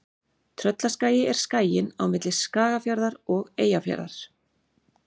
Tröllaskagi er skaginn á milli Skagafjarðar og Eyjafjarðar.